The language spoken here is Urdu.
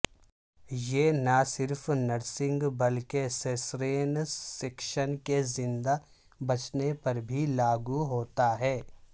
یہ نہ صرف نرسنگ بلکہ سیسرین سیکشن کے زندہ بچنے پر بھی لاگو ہوتا ہے